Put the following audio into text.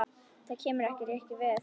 Það kemur ykkur ekkert við.